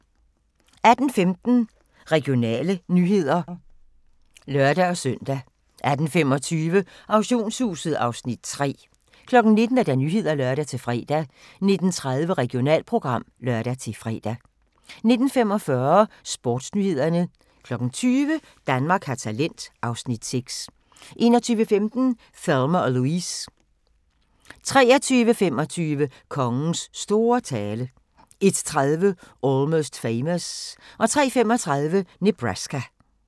18:15: Regionale nyheder (lør-søn) 18:25: Auktionshuset (Afs. 3) 19:00: Nyhederne (lør-fre) 19:30: Regionalprogram (lør-fre) 19:45: Sportsnyhederne 20:00: Danmark har talent (Afs. 6) 21:15: Thelma & Louise 23:25: Kongens store tale 01:30: Almost Famous 03:35: Nebraska